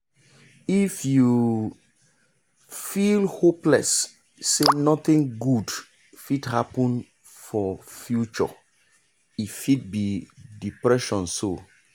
if you feel hopeless say nothing good fit happen for future e fit be depression so.